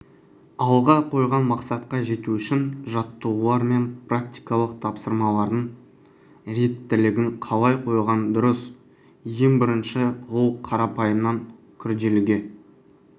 алға қойған мақсатқа жету үшін жаттығулар мен практикалық тапсырмалардың реттілігін қалай қойған дұрыс ең бірінші ол қарапайымнан күрделіге